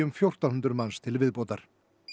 fjórtán hundruð manns til viðbótar